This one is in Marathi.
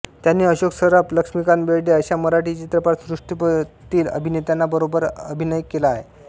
त्यांनी अशोक सराफ लक्ष्मीकांत बेर्डे अश्या मराठी चित्रपटात सृष्टीतील अभिनेत्यांना बरोबर अभिनय केला आहे